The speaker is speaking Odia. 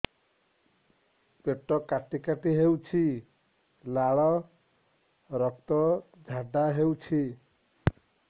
ପେଟ କାଟି କାଟି ହେଉଛି ଲାଳ ରକ୍ତ ଝାଡା ହେଉଛି